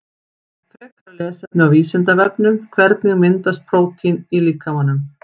Frekara lesefni á Vísindavefnum Hvernig myndast prótín í líkamanum?